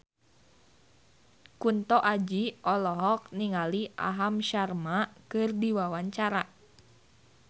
Kunto Aji olohok ningali Aham Sharma keur diwawancara